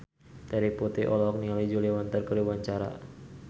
Terry Putri olohok ningali Julia Winter keur diwawancara